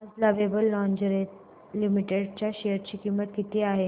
आज lovable lingerie limited च्या share ची किंमत किती आहे